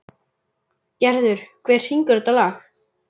Gerður, hver syngur þetta lag?